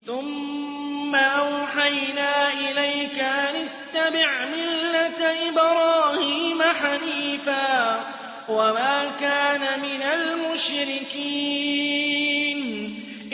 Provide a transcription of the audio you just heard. ثُمَّ أَوْحَيْنَا إِلَيْكَ أَنِ اتَّبِعْ مِلَّةَ إِبْرَاهِيمَ حَنِيفًا ۖ وَمَا كَانَ مِنَ الْمُشْرِكِينَ